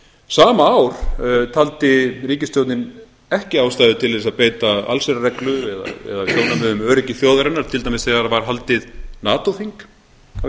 sama ár taldi ríkisstjórnin ekki ástæðu til þess að beita allsherjarreglu eða sjónarmiðum um öryggi þjóðarinnar til dæmis þegar var haldið natoþing á